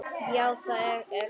Já það er hann.